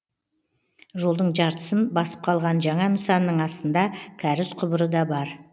жолдың жартысын басып қалған жаңа нысанның астында кәріз құбыры да бар